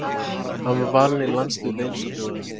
Hann var valinn í landslið Wales á dögunum.